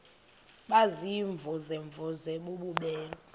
baziimvuze mvuze bububele